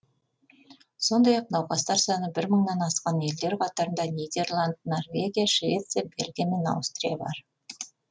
сондай ақ науқастар саны бір мыңнан асқан елдер қатарында нидерланд норвегия швеция бельгия мен аустрия бар